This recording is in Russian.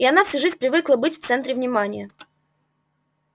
а она всю жизнь привыкла быть в центре внимания